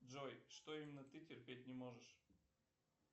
джой что именно ты терпеть не можешь